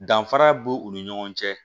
Danfara b'u u ni ɲɔgɔn cɛ